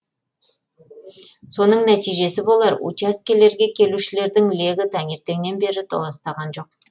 соның нәтижесі болар учаскелерге келушілердің легі таңертеңнен бері толастаған жоқ